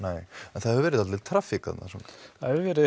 en það hefur verið dálítil traffík þarna það hefur verið